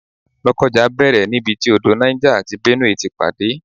Lokoja bẹ̀rẹ̀ nibiti odò Niger àti Benue ti pàdé